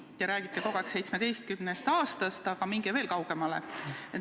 Te räägite kogu aeg 17 aastast, aga minge veel kaugemale.